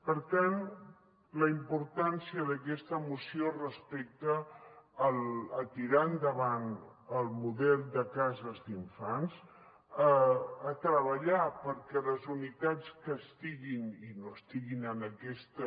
per tant la importància d’aquesta moció respecte a tirar endavant el model de cases d’infants a treballar perquè les unitats que estiguin i no estiguin en aquesta